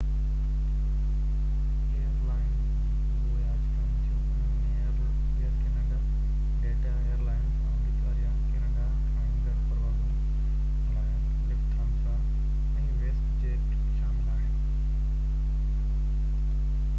air lines جيڪي اهو آڇ ڪن ٿيون انهن ۾ Air Canada, Delta airlines, آمريڪا يا ڪينيڊا کان ايندڙ پروازن لاءِ لفٿانسا، ۽ ويسٽ جيٽ شامل آهن